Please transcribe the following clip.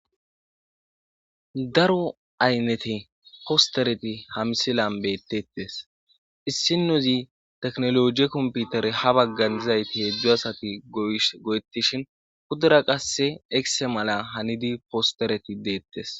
daro aynnete postereti ha misilan bettettes issinozi teknologie komputere ha baggan dizayti heedzdzo asati go7etishin hudura qasse ekse mala hanidi postereti deettes